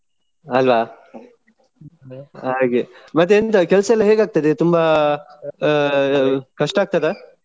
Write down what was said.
ಅಲ್ವಾ ಹಾಗೆ. ಮತ್ತೆಂತ ಕೆಲ್ಸಯೆಲ್ಲಾ ಹೇಗಾಗ್ತದೆ ತುಂಬಾ ಆ ಕಷ್ಟಾಗ್ತದಾ?